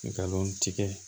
Nkalon tigɛ